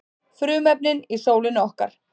Frumefnin í sólinni okkar.